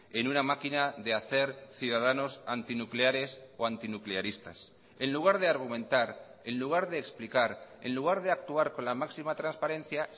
en una máquina de hacer ciudadanos antinucleares o antinuclearistas en lugar de argumentar en lugar de explicar en lugar de actuar con la máxima transparencia